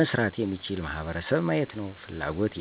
መስራት የሚችል ማህበረሰብ ማየት ነዉ ፍላጎቴ።